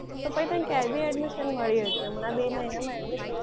તો તને ક્યાંય બી admission મળી હકે. હમણાં બે મહિનામાં admission